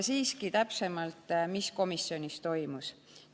Siiski räägin täpsemalt, mis komisjonis toimus.